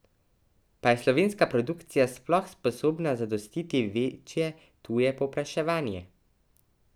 Pa je slovenska produkcija sploh sposobna zadostiti večje tuje povpraševanje?